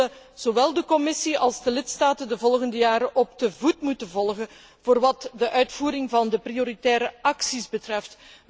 We zullen zowel de Commissie als de lidstaten de volgende jaren op de voet moeten volgen voor wat de uitvoering van de prioritaire acties betreft.